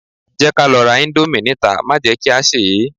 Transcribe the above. Jẹ́ ká lọ ra íńdómì níta má jẹ kí a sè é.